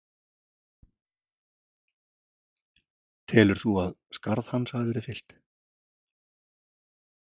Telur þú að skarð hans hafi verið fyllt?